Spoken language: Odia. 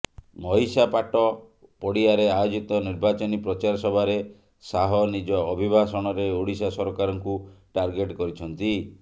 ମହିଷାପାଟ ପଡ଼ିଆରେ ଆୟୋଜିତ ନିର୍ବାଚନୀ ପ୍ରଚାର ସଭାରେ ଶାହ ନିଜ ଅଭିଭାଷଣରେ ଓଡ଼ିଶା ସରକାରଙ୍କୁ ଟାର୍ଗେଟ କରିଛନ୍ତି